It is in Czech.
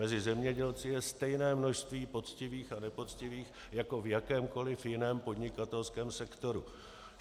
Mezi zemědělci je stejné množství poctivých a nepoctivých jako v jakémkoliv jiném podnikatelském sektoru.